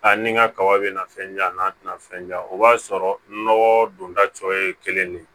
A ni n ka kaba bɛ na fɛn di yan n'a tɛna fɛn ja o b'a sɔrɔ nɔgɔ donda cɔ ye kelen de ye